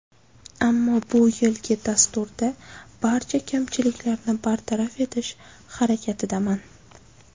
Ammo bu yilgi dasturda barcha kamchiliklarni bartaraf etish harakatidaman.